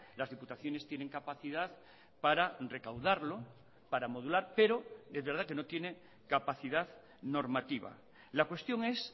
las diputaciones tienen capacidad para recaudarlo para modular pero es verdad que no tiene capacidad normativa la cuestión es